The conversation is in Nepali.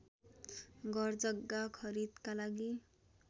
घरजग्गा खरिदका लागि